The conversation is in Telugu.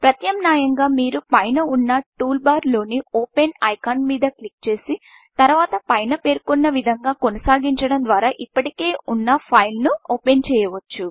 ప్రత్యామ్నాయంగా మీరు పైన ఉన్న టూల్బార్లోని Openఓపెన్ ఐకాన్ మీద క్లిక్ చేసి తరువాత పైన పేర్కొన్న విధంగా కొనసాగించడం ద్వారా ఇప్పటికే ఉన్న ఫైల్ను ఓపెన్చేయవచ్చు